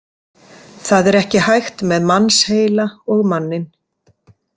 Það er ekki hægt með mannsheila og manninn.